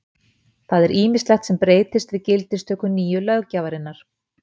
það er ýmislegt sem breytist við gildistöku nýju löggjafarinnar